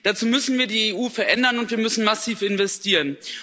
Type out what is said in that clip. Dazu müssen wir die EU verändern, und wir müssen massiv investieren.